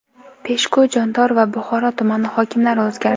Peshku, Jondor va Buxoro tumani hokimlari o‘zgardi.